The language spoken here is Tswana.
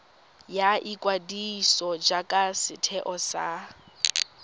ya ikwadiso jaaka setheo sa